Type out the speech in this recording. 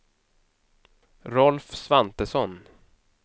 Rolf Svantesson